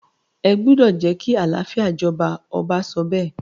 ẹ gbúdọ̀ jẹ́ kí àlàáfíà jọba! ọba sọ bẹ́ẹ̀.